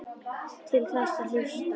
Til þess að hlusta.